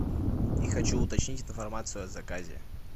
и хочу уточнить информацию о заказе